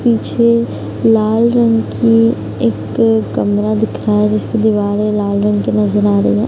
पीछे लाल रंग की एक कमरा दिख रहा है जिसकी दीवारें लाल रंग की नजर आ रही हैं।